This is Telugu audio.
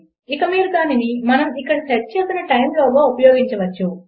ఇక మీరు దానిని మనము ఇక్కడ సెట్ చేసిన టైమ్ లోగా ఉపయోగించవచ్చు